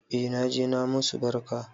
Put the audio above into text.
E naje na musu barka